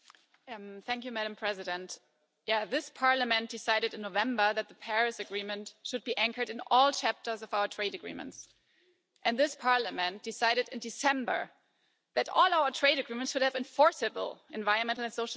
Madam President, this Parliament decided in November that the Paris Agreement should be anchored in all chapters of our trade agreements, and this Parliament decided in December that all our trade agreements would have enforceable environmental and social standards.